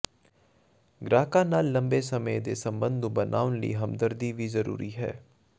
ਗ੍ਰਾਹਕਾਂ ਨਾਲ ਲੰਬੇ ਸਮੇਂ ਦੇ ਸੰਬੰਧ ਬਣਾਉਣ ਲਈ ਹਮਦਰਦੀ ਵੀ ਜ਼ਰੂਰੀ ਹੈ